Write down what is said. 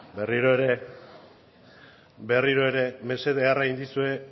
mesedea ederra egin dizue